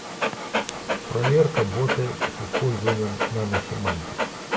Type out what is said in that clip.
проверка бота с использованием наносемантика